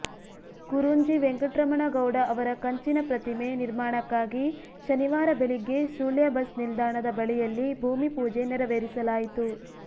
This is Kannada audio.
ಕುರುಂಜಿ ವೆಂಕಟ್ರಮಣ ಗೌಡ ಅವರ ಕಂಚಿನ ಪ್ರತಿಮೆ ನಿರ್ಮಾಣಕ್ಕಾಗಿ ಶನಿವಾರ ಬೆಳಗ್ಗೆ ಸುಳ್ಯ ಬಸ್ ನಿಲ್ದಾಣದ ಬಳಿಯಲ್ಲಿ ಭೂಮಿಪೂಜೆ ನೆರವೇರಿಸಲಾಯಿತು